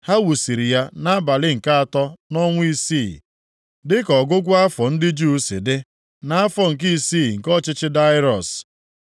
Ha wusiri ya nʼabalị nke atọ nʼọnwa isii (dị ka ọgụgụ afọ ndị Juu si dị) nʼafọ nke isii nke ọchịchị Daraiọs.